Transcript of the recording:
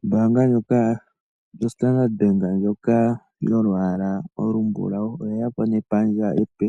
Ombaanga ndjoka yo Standard Bank ndjoka yolwaala olumbulawu oye ya po nepandja epe